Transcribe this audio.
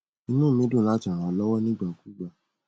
inú mi dùn láti ràn ọ lọwọ ní ìgbà kúùgbà